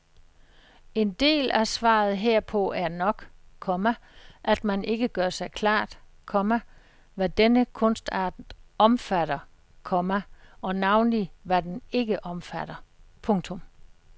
En del af svaret herpå er nok, komma at man ikke gør sig klart, komma hvad denne kunstart omfatter, komma og navnlig hvad den ikke omfatter. punktum